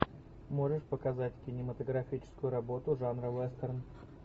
можешь показать кинематографическую работу жанра вестерн